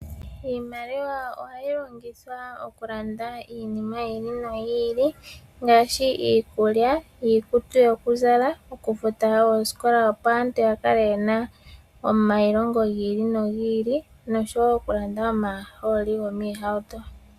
Iimaliwa ohayi longithwa okulanda iinima yi ili noyi ili ngaashi iikulya, iikutu yokuzala, okufuta osikola opo aantu ya kale ye na omailongo gi ili nogi ili nosho wo okulanda omahooli gomiihauto.